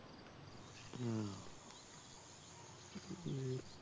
হম